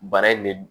Baara in de